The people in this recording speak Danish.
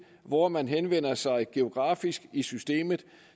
hvor man henvender sig geografisk i systemet